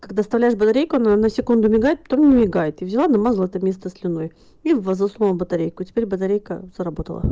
когда вставляешь батарейку на секунду мигает потом не мигает я взяла намазала это место слюной и туда засунула батарейку и теперь батарейка заработала